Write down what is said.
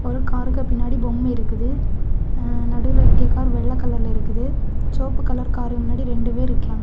ஒரு காருக்கு பின்னாடி போம்ம இருக்குது ஆ நடுல இருக்கிய கார் வெள்ள கலர்ல இருக்குது ச்செவப்பு கலர் கார் முன்னாடி ரெண்டு பேருக்கியாங்க.